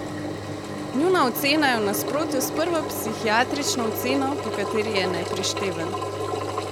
Njuna ocena je v nasprotju s prvo psihiatrično oceno, po kateri je neprišteven.